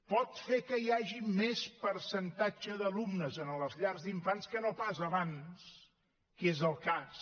pot fer que hi hagi més percentatge d’alumnes a les llars d’infants que no pas abans que és el cas